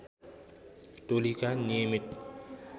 टोलीका नियमित